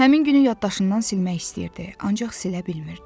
Həmin günü yaddaşından silmək istəyirdi, ancaq silə bilmirdi.